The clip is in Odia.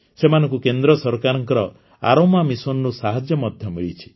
ସେମାନଙ୍କୁ କେନ୍ଦ୍ର ସରକାରଙ୍କ ଆରୋମା missionରୁ ସାହାଯ୍ୟ ମଧ୍ୟ ମିଳିଛି